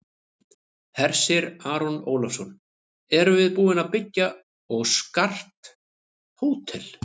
Hersir Aron Ólafsson: Erum við búin að byggja og skart hótel?